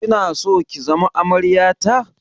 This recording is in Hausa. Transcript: Kina so ki zama amarya ta?